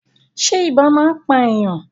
Ṣé ibà máa ń pà èèyàn?